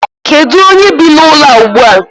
Kedu onye bi n'ụlọ a ugbu a?